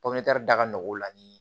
popiɲɛri da nɔgɔ la ni